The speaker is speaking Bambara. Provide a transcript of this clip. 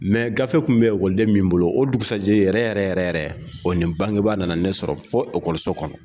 Mɛ gafe kun bɛ ekɔliden min bolo o dugusajɛ yɛrɛ yɛrɛ yɛrɛ yɛrɛ o nin bangebaa nana ne sɔrɔ okɔso fɔ ekɔliso kɔnɔ.